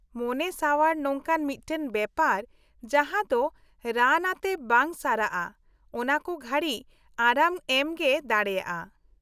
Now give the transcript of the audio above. -ᱢᱚᱱᱮ ᱥᱟᱣᱟᱨ ᱱᱚᱝᱠᱟᱱ ᱢᱤᱫᱴᱟᱝ ᱵᱮᱯᱟᱨ ᱡᱟᱦᱟᱸ ᱫᱚ ᱨᱟᱱ ᱟᱛᱮ ᱵᱟᱝ ᱥᱟᱨᱟᱜᱼᱟ , ᱚᱱᱟ ᱠᱚ ᱜᱷᱟᱲᱤᱠ ᱟᱨᱟᱢ ᱮᱢ ᱜᱮ ᱫᱟᱲᱮᱭᱟᱜᱼᱟ ᱾